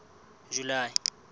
july